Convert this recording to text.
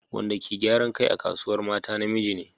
Wadda ke gyaran kai a Kasuwar Mata namiji ne.